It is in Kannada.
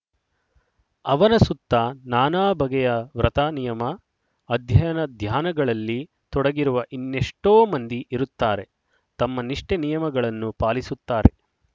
ಅವನ ಸುತ್ತ ನಾನಾ ಬಗೆಯ ವ್ರತ ನಿಯಮ ಅಧ್ಯಯನ ಧಾನ್ಯಗಳಲ್ಲಿ ತೊಡಗಿರುವ ಇನ್ನೆಷ್ಟೊ ಮಂದಿ ಇರುತ್ತಾರೆ ತಮ್ಮ ನಿಷ್ಠೆ ನಿಯಮಗಳನ್ನು ಪಾಲಿಸುತ್ತಾರೆ